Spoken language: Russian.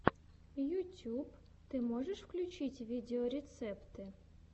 ютюб ты можешь включить видеорецепты